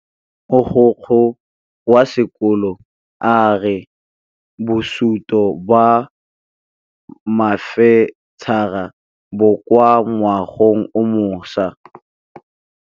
Mogokgo wa sekolo a re bosutô ba fanitšhara bo kwa moagong o mošwa.